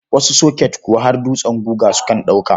Wasu soket kuwa har dutsen guga sukan ɗauka.